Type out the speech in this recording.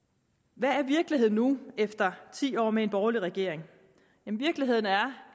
hvad er virkeligheden nu efter ti år med en borgerlig regering virkeligheden er